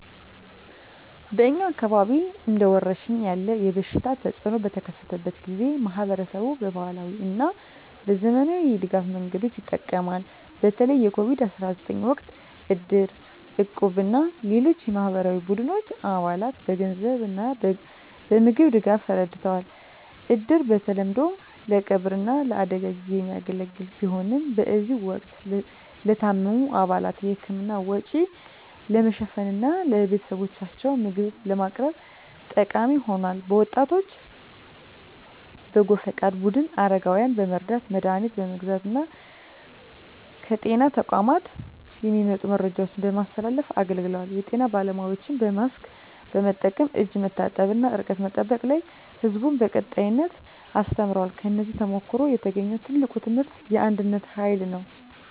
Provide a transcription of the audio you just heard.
በእኛ አካባቢ እንደ ወረርሽኝ ያለ የበሽታ ተፅእኖ በተከሰተበት ጊዜ፣ ማኅበረሰቡ በባህላዊ እና በዘመናዊ የድጋፍ መንገዶች ይጠቀማል። በተለይ የCOVID-19 ወቅት እድር፣ እቁብ እና ሌሎች የማኅበራዊ ቡድኖች አባላትን በገንዘብ እና በምግብ ድጋፍ ረድተዋል። እድር በተለምዶ ለቀብር እና ለአደጋ ጊዜ የሚያገለግል ቢሆንም፣ በዚህ ወቅት ለታመሙ አባላት የሕክምና ወጪ ለመሸፈን እና ለቤተሰቦቻቸው ምግብ ለማቅረብ ተጠቃሚ ሆኗል። የወጣቶች በጎ ፈቃድ ቡድኖች አረጋውያንን በመርዳት፣ መድሀኒት በመግዛት እና ከጤና ተቋማት የሚመጡ መረጃዎችን በማስተላለፍ አገልግለዋል። የጤና ባለሙያዎችም በማስክ መጠቀም፣ እጅ መታጠብ እና ርቀት መጠበቅ ላይ ሕዝቡን በቀጣይነት አስተምረዋል። ከዚህ ተሞክሮ የተገኘው ትልቁ ትምህርት የአንድነት ኃይል ነው።